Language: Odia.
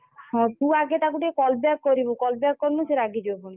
ହଁ ତୁ ଆଗେ ତାକୁ ଟିକେ call back କରିବୁ call back କରିନୁ ସେ ରାଗି ଯିବ ପୁଣି।